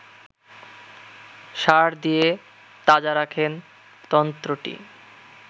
সার দিয়ে তাজা রাখেন তন্ত্রটি